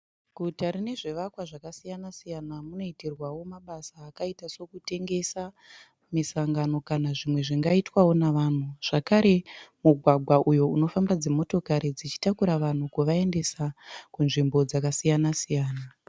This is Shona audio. Guta rinezvivakwa zvakasiyana-siyana munoitirwawo mabasa akaita sekutengesa, misangano kana zvimwe zvingaitwawo nevanhu. Zvakare mugwagwa uyu unofamba dzimotokari dzichitakura vanhu kuvaendesa kunzvimbo dzakasiyana-siyana.